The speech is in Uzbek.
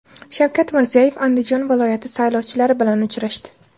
Shavkat Mirziyoyev Andijon viloyati saylovchilari bilan uchrashdi.